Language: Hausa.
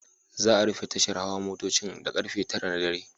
Za'a rufe tashar hawa motocin da karfe 9 na dare.